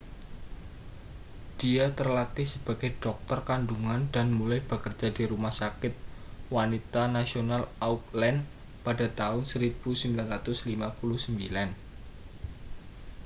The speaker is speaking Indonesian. dia terlatih sebagai dokter kandungan dan mulai bekerja di rumah sakit wanita nasional auckland pada tahun 1959